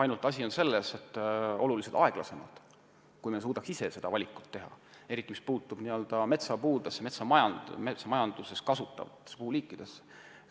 Ainult asi on selles, et see kohanemine on oluliselt aeglasem kui siis, kui me suudaks ise seda valikut teha, eriti mis puudutab n-ö metsapuid, metsamajanduses kasutatavaid puuliike.